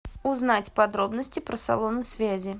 узнать подробности про салоны связи